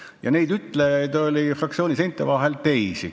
Ja neid ütlejaid oli fraktsiooni seinte vahel teisigi.